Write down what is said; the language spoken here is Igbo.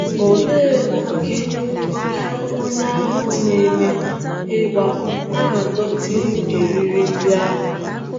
Olee ókè ókè onye ahụ na - eme ịgbà na - adọtịru eriri ndị ahụ?